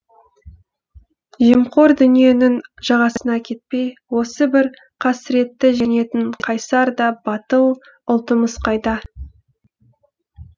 жемқор дүниенің жағасына кетпей осы бір қасіретті жеңетін қайсар да батыл ұлтымыз қайда